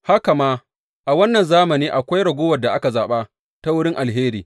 Haka ma, a wannan zamani akwai ragowar da aka zaɓa ta wurin alheri.